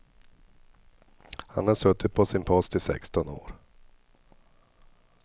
Han har suttit på sin post i sexton år.